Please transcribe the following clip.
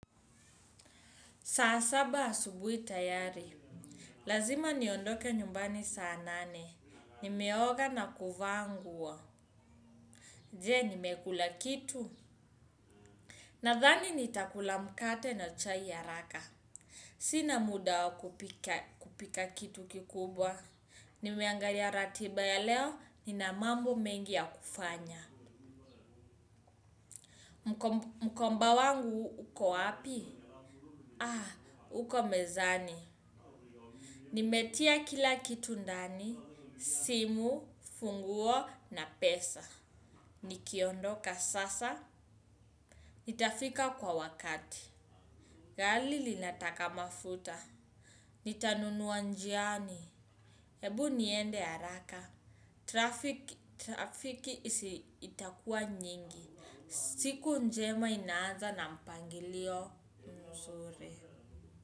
Saa saba asubuhi tayari. Lazima niondoke nyumbani saa nane. Nimeoga na kuvaa nguo. Je, nimekula kitu. Nathani nitakula mkate na chai ya haraka. Sina muda wa kupika kitu kikubwa. Nimeangalia ratiba ya leo, nina mambo mengi ya kufanya. Mkomba wangu uko api uko mezani. Nimetia kila kitu ndani. Simu, funguo na pesa. Nikiondoka sasa nitafika kwa wakati. Gari linataka mafuta. Nitanunuwa njiani. Ebu niende haraka traffic. Trafiki itakua nyingi. Siku njema inaaza na mpangilio.